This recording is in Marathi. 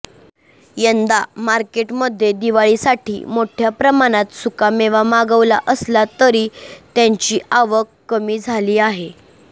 यंदा मार्केटमध्ये दिवाळीसाठी मोठया प्रमाणात सुकामेवा मागवला असला तरी त्याची आवक कमी झाली आहे